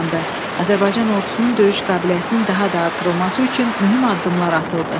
Azərbaycan ordusunun döyüş qabiliyyətinin daha da artırılması üçün mühüm addımlar atıldı.